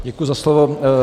Děkuji za slovo.